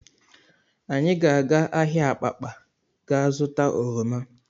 Anyị ga-aga ahịa Abakpa gaa zụta oroma